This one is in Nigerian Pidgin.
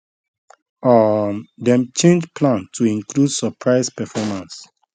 um dem change plan to include surprise performance